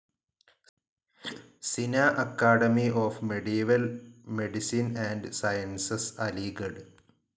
സിനാ academy of medieval medicine and sciences, Aligarh